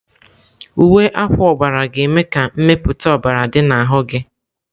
Uwe akwa ọbara ga-eme ka mmepụta ọbara dị n'ahụ gị.